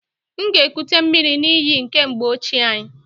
M ga-ekute miri n'iyi nke mgbe ochie anyị.